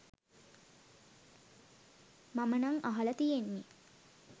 මම නම් අහල තියෙන්නෙ